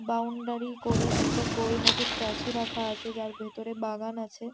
Boundary করে একটা গোল মতো স্ট্যাচু রাখা আছে যার ভেতরে বাগান আছে।